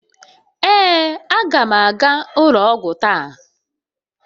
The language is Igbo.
Ee, aga m aga ụlọ ọgwụ taa.